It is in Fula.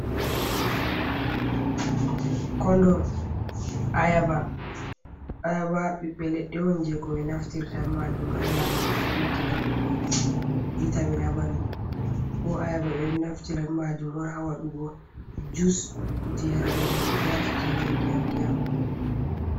Kondon, ayaba, ayaba ɓiɓɓe leɗɗe on je ko ɓe naftirta be majum ha nyamugo, beddina goɗɗo vitamin ha ɓandu bo ayaba ɓeɗo naftira ɓe majum on hawadugo jus kuje yarugo je ko ɓe naftirta je ndiyam ndiyam.